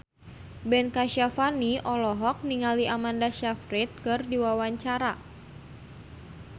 Ben Kasyafani olohok ningali Amanda Sayfried keur diwawancara